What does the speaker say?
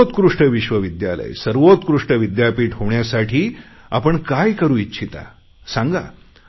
सर्वोत्कृष्ट विश्वविद्यालये सर्वोत्कृष्ट विद्यापीठे होण्यासाठी आपण काम करु इच्छिता सांगा